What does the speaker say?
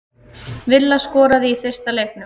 Villa skoraði í fyrsta leiknum